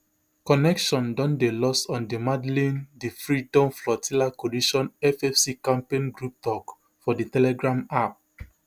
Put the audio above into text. connection don dey lost on di madleen di freedom flotilla coalition FFC campaign group tok for di telegram app